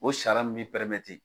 O sariya min bi